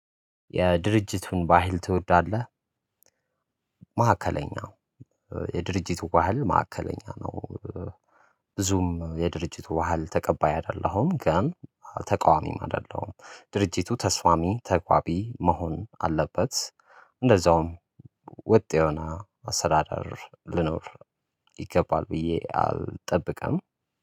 የድርጅቱን ባህል ትወዳለህ? ማዕከለኛ ነው የድርጅቱ ባህል ማዕከለኛ ነው። ብዙም የድርጅቱ ባህል ተቀባይ አይደለሁም። ግን ተቃዋሚም አይደለም ድርጅቱ ተስፋማሚ ተቋቢ መሆን አለበት። እንደዛውም ወጥ የሆነ አሰራር ልኖር ይገባል። ብዬ አልጠብቀኝም